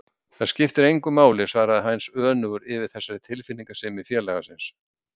Það skiptir engu máli svaraði Heinz önugur yfir þessari tilfinningasemi félaga síns.